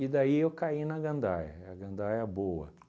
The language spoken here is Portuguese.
E daí eu caí na gandaia, a gandaia boa